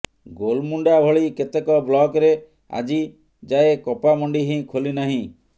ଗୋଲମୁଣ୍ଡା ଭଳି କେତେକ ବ୍ଲକରେ ଆଜି ଯାଏଁ କପା ମଣ୍ଡି ହିଁ ଖୋଲି ନାହିଁ